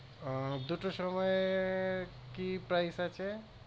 আহ দুটোর সময় কি price আছে